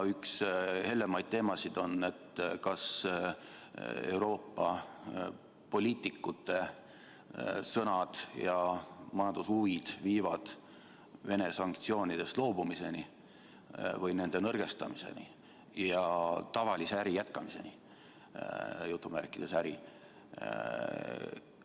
Üks hellemaid teemasid on see, kas Euroopa poliitikute sõnad ja majandushuvid viivad Venemaa-sanktsioonidest loobumiseni või nende nõrgestamiseni ja tavalise äri – jutumärkides "äri" – jätkamiseni.